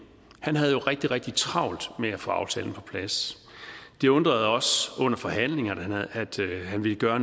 havde rigtig rigtig travlt med at få aftalen på plads det undrede os under forhandlingerne at han ville gøre